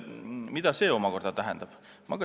Mida see omakorda tähendab?